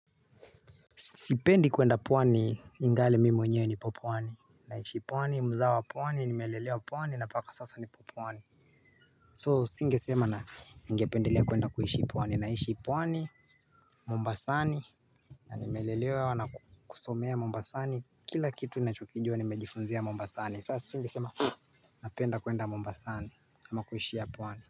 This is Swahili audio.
Sipendi kwenda pwani ingali mimi mwenyewe nipo pwani. Naishi pwani mzawa wa pwani nimelelewa pwani na mpaka sasa nipo pwani. So singe sema ningependelea kwenda kuishi pwani naishi pwani Mombasani. Na nimelelewa na kusomea Mombasani kila kitu nachokijua nimejifunzia Mombasani sasa singesema. Napenda kwenda Mombasani ama kuishia pwani.